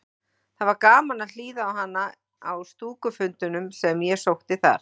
Það var gaman að hlýða á hana á stúkufundunum sem ég sótti þar.